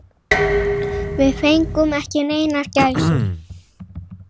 Við fengum ekki neinar gæsir.